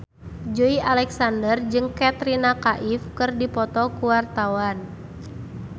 Joey Alexander jeung Katrina Kaif keur dipoto ku wartawan